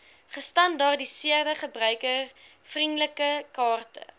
gestandaardiseerde gebruikervriendelike kaarte